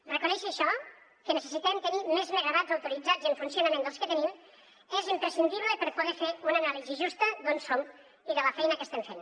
reconèixer això que necessitem tenir més megawatts autoritzats i en funcionament dels que tenim és imprescindible per poder fer una anàlisi justa d’on som i de la feina que estem fent